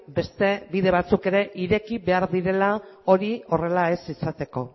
beste bide batzuk ere ireki behar direla hori horrela ez izateko